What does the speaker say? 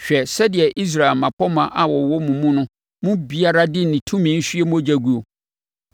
“ ‘Hwɛ sɛdeɛ Israel mmapɔmma a wɔwɔ wo mu no mu biara de ne tumi hwie mogya guo.